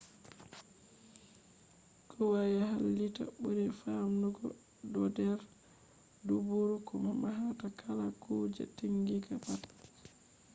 kwaya halitta buri famdugo do'der duburu ko mahata kala kuje taginga pat